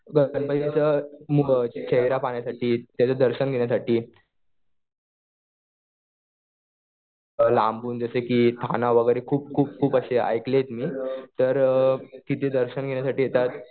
तर त्यांना तिथं खेळण्या पाहण्यासाठी, त्याचं दर्शन घेण्यासाठी लांबून जसे कि स्थानं खूप खूप असे ऐकलेत मी. तर तिथे दर्शन घेण्यासाठी येतात.